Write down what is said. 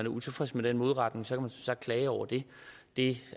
utilfreds med den modregning som sagt klage over det det